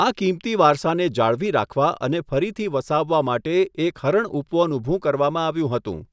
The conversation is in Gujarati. આ કિંમતી વારસાને જાળવી રાખવા અને ફરીથી વસાવવા માટે એક હરણ ઉપવન ઊભું કરવામાં આવ્યું હતું.